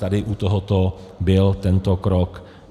Tady u tohoto byl tento krok.